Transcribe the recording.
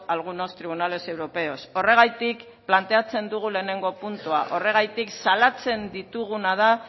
algunos tribunales europeos horregatik planteatzen dugu lehenengo puntua horregatik salatzen ditugu